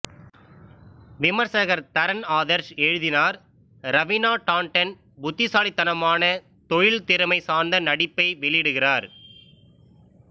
விமர்சகர் தரண் ஆதர்ஷ் எழுதினார் ரவீணா டாண்டன் புத்திசாலித்தனமான தொழில் திறமைச் சார்ந்த நடிப்பை வெளியிடுகிறார்